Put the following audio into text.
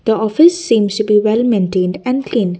the office seems to be well maintained and clean.